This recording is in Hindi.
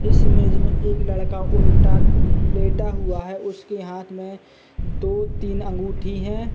इस इमेज में एक लड़का उल्टा उम्म लेटा हुआ है उसके हाथ में दो-तीन अंगूठी है।